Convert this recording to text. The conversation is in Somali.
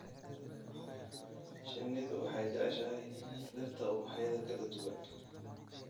Shinnidu waxay jeceshahay dhirta ubaxyada kala duwan.